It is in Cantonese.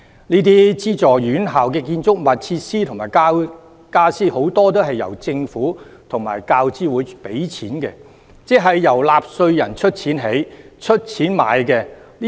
這些資助院校的建築物、設施及傢俬，很多都是由政府及大學教育資助委員會出資，即是由納稅人出資興建、購買。